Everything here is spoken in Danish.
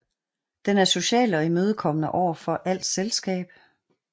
Den er social og imødekommende overfor alt selskab